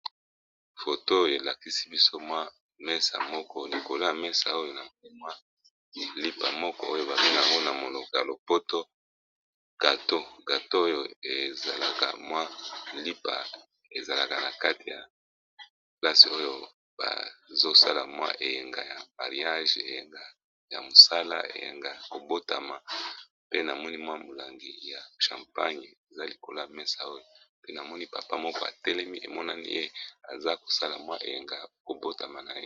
Foto oyo elakisi biso mwa mesa moko likolo ya mesa oyo na mwa lipa moko oyo babinango na moloko ya lopoto gato, oyo ezalaka mwa lipa ezalaka na kati ya plasi oyo bazosala mwa eyenga ya mariage, eyanga ya mosala eyanga ya kobotama, pe namoni mwa molangi ya champagne eza likolo ya mesa, oyo pe namoni papa moko atelemi emonani ye aza kosala mwa eyenga ya kobotama na ye.